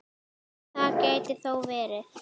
Það gæti þó verið.